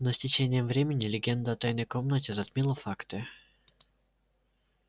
но с течением времени легенда о тайной комнате затмила факты